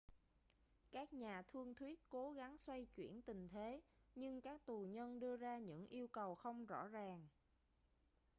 các nhà thương thuyết cố gắng xoay chuyển tình thế nhưng các tù nhân đưa ra những yêu cầu không rõ ràng